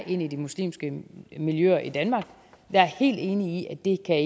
ind i de muslimske miljøer i danmark jeg er helt enig i at det ikke kan